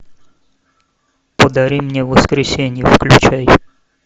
подари мне воскресенье включай